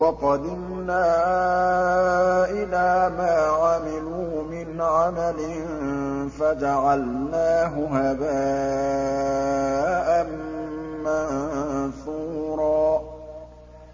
وَقَدِمْنَا إِلَىٰ مَا عَمِلُوا مِنْ عَمَلٍ فَجَعَلْنَاهُ هَبَاءً مَّنثُورًا